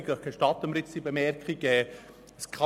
Vielleicht gibt es noch eine andere Motivation.